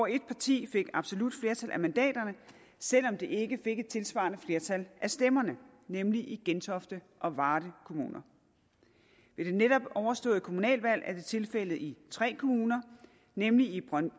et parti fik absolut flertal af mandaterne selv om det ikke fik et tilsvarende flertal af stemmerne nemlig i gentofte og varde kommuner ved det netop overståede kommunalvalg er det tilfældet i tre kommuner nemlig i